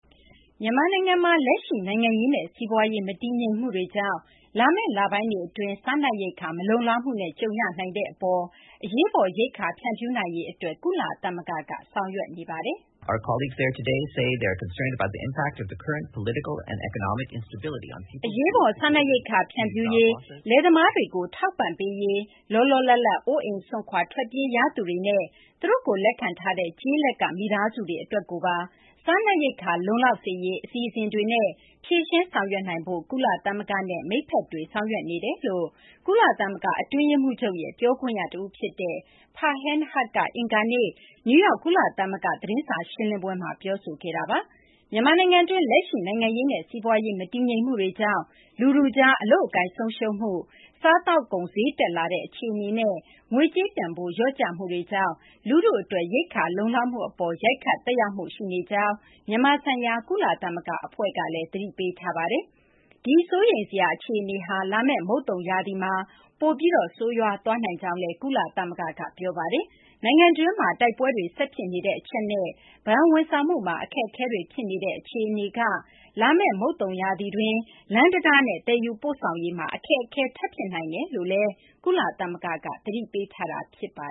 မြန်မာနိုင်ငံမှာ လက်ရှိ နိုင်ငံရေးနဲ့ စီးပွားရေး မတည်ငြိမ်မှုတွေကြောင့် လာမယ့် လပိုင်းတွေ အတွင်း စားနပ်ရိက္ခာ မလုံလောက်မှုနဲ့ ကြုံရနိုင်တာကြောင့် အရေးပေါ် ရိက္ခာ ဖြန့်ဖြူးနိုင်ရေး ကုလသမဂ္ဂက ဆောင်ရွက်နေပါတယ်။ အရေးပေါ် စားနပ်ရိက္ခာ ဖြန့်ဖြူးရေး၊ လယ်သမားတွေကို ထောက်ပံ့ပေးရေး၊ လောလောလတ်လတ် အိုးအိမ်စွန့်ခွာ ထွက်ပြေးရသူတွေနဲ့ သူတို့ကို လက်ခံထားတဲ့ ကျေးလက်က မိသားစုတွေ အတွက်ကိုပါ စားနပ်ရိက္ခာလုံလောက် စေရေး အစီအစဉ်တွေနဲ့ ဖြေရှင်းဆောင်ရွက်နိုင်ဖို့ ကုလသမဂ္ဂနဲ့ မိတ်ဖက်တွေ ဆောင်ရွက်နေကြောင်း ကုလသမဂ္ဂ အတွင်းရေးမှူးချုပ်ရဲ့ ပြောခွင့်ရ တဦး ဖြစ်တဲ့ Farhan Haq က အင်္ဂါနေ့ နယူးယောက် ကုလသမဂ္ဂ သတင်းစာ ရှင်းလင်းပွဲမှာ ပြောဆိုခဲ့တာပါ။ မြန်မာနိုင်ငံတွင်း လက်ရှိ နိုင်ငံရေးနဲ့ စီးပွားရေး မတည်ငြိမ်မှုတွေကြောင့် လူထုကြား အလုပ်အကိုင် ဆုံးရှုံးမှု၊ စားသောက်ကုန် ဈေးတက်လာတဲ့ အခြေအနေနဲ့ ငွေကြေး တန်ဖိုး လျော့ကျမှုတွေကြောင့် လူထုအတွက် ရိက္ခာ လုံလောက်မှု အပေါ်မှာ ရိုက်ခတ် သက်ရောက်မှု ရှိနေကြောင်း မြန်မာဆိုင်ရာ ကုလသမဂ္ဂ အဖွဲ့ကလည်း သတိပေးထားပါတယ်။ ဒီ စိုးရိမ်စရာ အခြေအနေဟာ လာမယ့် မုတ်သုံရာသီမှာ ပိုပြီး ဆိုးရွားသွားနိုင်ကြောင်းလည်း ကုလသမဂ္ဂက ပြောဆိုပါတယ်။ နိုင်ငံတွင်းမှာ တိုက်ပွဲတွေ ဆက်ဖြစ်နေတဲ့ အချက်နဲ့ ဘဏ်ဝန်ဆောင်မှုမှာ အခက်အခဲတွေ ဖြစ်နေတဲ့ အခြေအနေမှာ လာမယ့် မုတ်သုံရာသီတွင်း လမ်းတံတားနဲ့ သယ်ယူပို့ဆောင်ရေးမှာ အခက်အခဲ ထပ်ဖြစ်နိုင်တယ်လို့ ကုလသမဂ္ဂက သတိပေးထားတာ ဖြစ်ပါ